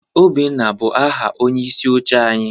Obinna bụ aha onyeisi oche anyị.